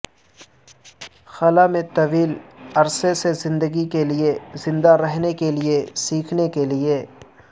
خلا میں طویل عرصے سے زندگی کے لئے زندہ رہنے کے لئے سیکھنے کے لئے